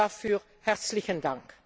Dafür herzlichen Dank!